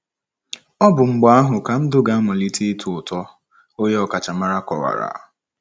Ọ bụ mgbe ahụ ka ndụ ga - amalite ịtọ ụtọ, onye ọkachamara kowara.